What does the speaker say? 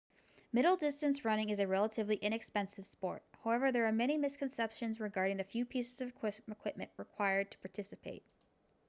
middle distance running is a relatively inexpensive sport however there are many misconceptions regarding the few pieces of equipment required to participate